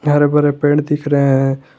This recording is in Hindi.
हरे भरे पेड़ दिख रहे हैं।